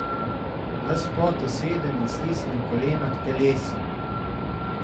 Ves v potu sedem in stisnem kolena k telesu.